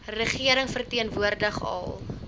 regering verteenwoordig al